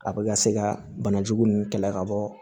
A bɛ ka se ka banajugu ninnu kɛlɛ ka bɔ